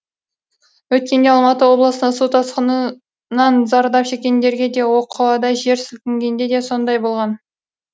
өткенде алматы облысында су тасқыны нан зардап шеккендерге де оқо да жер сілкінгенде де сондай болған